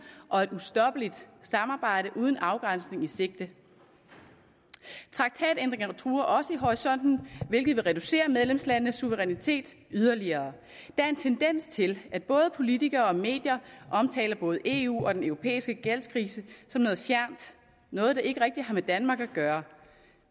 og et ustoppeligt samarbejde uden afgrænsning i sigte traktatændringer truer også i horisonten hvilket vil reducere medlemslandenes suverænitet yderligere der er en tendens til at både politikere og medier omtaler både eu og den europæiske gældskrise som noget fjernt noget der ikke rigtig har med danmark at gøre